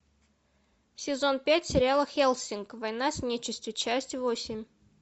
сезон пять сериала хеллсинг война с нечистью часть восемь